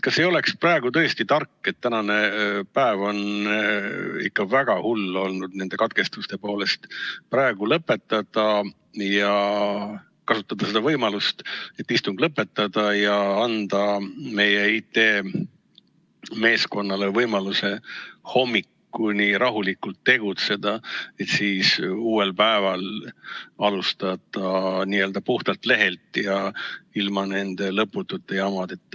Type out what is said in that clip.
Kas ei oleks tõesti tark, kuna tänane päev on ikka väga hull olnud nende katkestuste poolest, praegu lõpetada ja anda meie IT-meeskonnale võimaluse hommikuni rahulikult tegutseda, et siis uuel päeval alustada n-ö puhtalt lehelt ja ilma nende lõputute jamadeta.